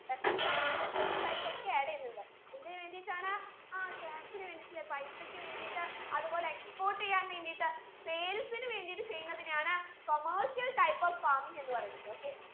pesticides insecticides ഒക്കെ add എയ്യുന്നുണ്ട് എന്തിന് വേണ്ടീട്ടാണ് ആ cash ന് വേണ്ടീട്ട് അല്ലെ പൈസക്ക് വേണ്ടീട്ട് അത് പോലെ export ചെയ്യാൻ വേണ്ടീട്ട് sales ന് വേണ്ടീട്ട് ചെയ്യുന്നതിനെയാണ് commercial type of farming എന്ന് പറയുന്നത് okay